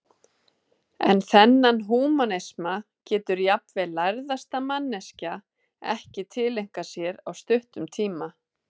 En þennan húmanisma getur jafnvel lærðasta manneskja ekki tileinkað sér á stuttum tíma.